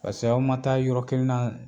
Pase aw ma taa yɔrɔ kelen na